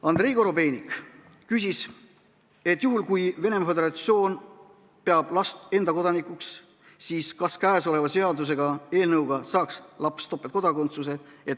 Andrei Korobeinik küsis, et juhul, kui Venemaa Föderatsioon peab last enda kodanikuks, siis kas käesoleva seaduseelnõu kohaselt saaks laps topeltkodakondsuse.